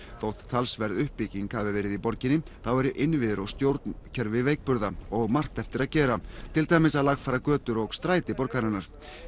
þótt talsverð uppbygging hafi verið í borginni þá eru innviðir og stjórnkerfi veikburða og margt eftir að gera til dæmis að lagfæra götur og stræti borgarinnar